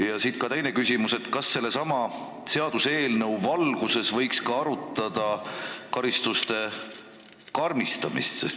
Ja siit veel teine küsimus: kas sellesama seaduseelnõu valguses võiks ka arutada karistuste karmistamist?